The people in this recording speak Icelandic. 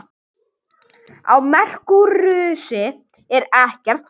Á Merkúríusi er ekkert vatn.